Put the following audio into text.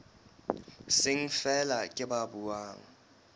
seng feela ke ba buang